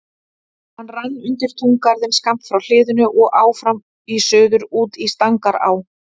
Hann rann undir túngarðinn skammt frá hliðinu og áfram í suður út í Stangará.